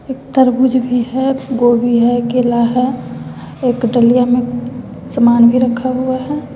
एक तरबूज भी है गोभी है केला है एक डालियां में समान भी रखा हुआ है।